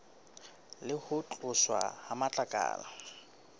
le ho tloswa ha matlakala